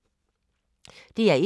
DR1